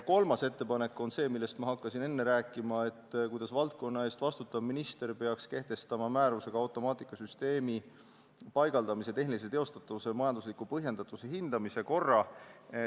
Kolmas ettepanek on see, millest ma enne rääkima hakkasin ja mis puudutab seda, kuidas valdkonna eest vastutav minister peaks kehtestama määrusega automaatikasüsteemi paigaldamise tehnilise teostatavuse ja majandusliku põhjendatuse hindamise korra.